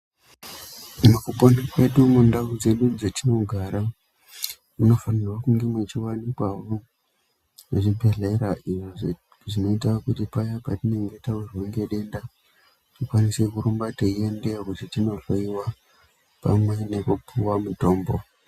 Mukupona kwedu mundau dzedu dzatinogara munofanirwa kunge muchivanikwa zvibhedhlera. Izvo zvinoita kuti paya patinenge tavirwa ngedenda tikwanise kurumba teiendeyo kuti tinohloiwa pamwe nekupuwa mutombo.